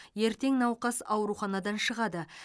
ертең науқас ауруханадан шығады